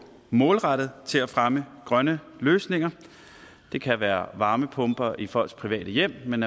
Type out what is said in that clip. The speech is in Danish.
målrettet til at fremme grønne løsninger det kan være varmepumper i folks private hjem men